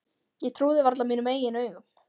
Ég trúði varla mínum eigin augum.